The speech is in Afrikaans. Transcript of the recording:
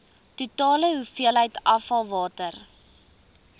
totale hoeveelheid afvalwater